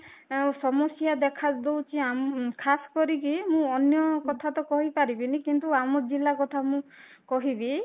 ତାଙ୍କ ସମସ୍ୟା ଦେଖାଯାଉଛି ଖାସ କରିକି ମୁଁ ଅନ୍ୟ କଥା ତ କହିପାରିବିନି କିନ୍ତୁ ଆମ ଜିଲ୍ଲା କଥା କହିବି